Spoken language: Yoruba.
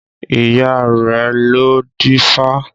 Ìyá rẹ̀ lọ dífá